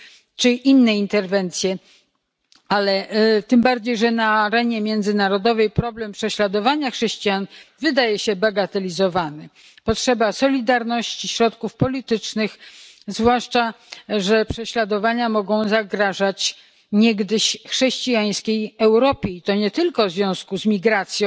czy inne interwencje, tym bardziej że na arenie międzynarodowej problem prześladowania chrześcijan wydaje się bagatelizowany. Istnieje potrzeba solidarności, środków politycznych, zwłaszcza że prześladowania mogą zagrażać niegdyś chrześcijańskiej Europie, i to nie tylko w związku z migracją,